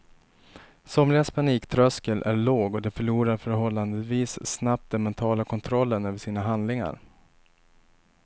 Somligas paniktröskel är låg och de förlorar förhållandevis snabbt den mentala kontrollen över sina handlingar.